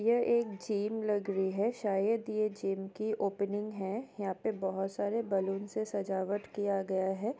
यह एक जिम लग रही है शायद ये जिम की ओपनिंग है हीया पे बहोत सारे बलून से सजावट किया गया है।